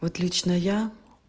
вот лично я